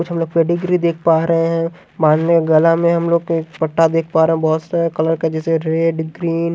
कुछ हम लोग पेडिग्री देख पा रहे हैं बाँध में गला में हम लोग पट्टा देख पा रहे हैं बहुत सारा कलर का जैसे रेड ग्रीन --